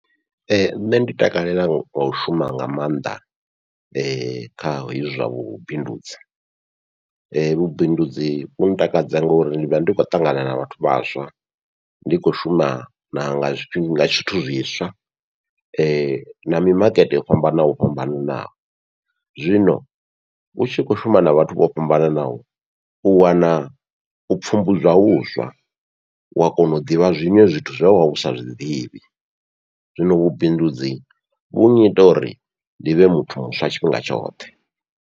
Nṋe ndi takalela muthu ono shuma nga maanḓa kha hezwi zwa vhubindudzi, vhubindudzi vhu takadza ngauri ndi vha ndi khou ṱangana na vhathu vhaswa ndi khou shuma na nga zwithu zwiswa, na mi makete yo fhambana fhambanaho. Zwino utshi khou shuma na vhathu vho fhambananaho u wana u pfhumbudzwa huswa, wa kona u ḓivha zwiṅwe zwithu zwe wavha usa zwiḓivhi, zwino vhubindudzi vhu nyita uri ndi vhe muthu muswa tshifhinga tshoṱhe.